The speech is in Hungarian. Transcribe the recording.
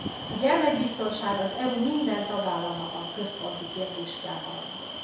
A gyermekbiztonság az EU minden tagállamában központi kérdés kell maradjon.